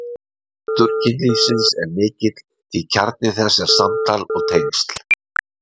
Máttur kynlífsins er mikill því kjarni þess er samtal og tengsl.